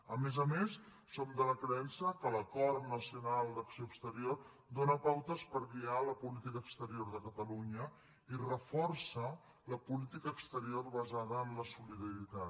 a més a més som de la creença que l’acord nacional d’acció exterior dóna pautes per guiar la política exterior de catalunya i reforça la política exterior basada en la solidaritat